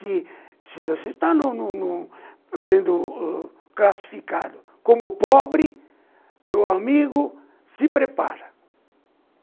Se se você está em um em um sendo oh classificado como pobre, meu amigo, se prepara.